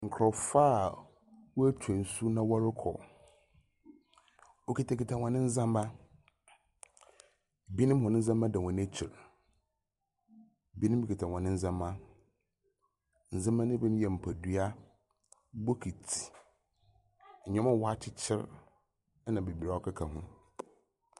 Nkorɔfo a woetwa nsu na wɔrokɔ, wokitsakitsa hɔn ndzɛmba. Binom hɔn ndzɛmba da hɔn ekyir, bi kitsa hɔn ndzɛmba. Ndzɛmba ne bi nye mpadua, bokitsi, ndzɛmba a wɔakyekyer na beberee a ɔkeka ho.